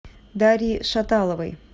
дарьи шаталовой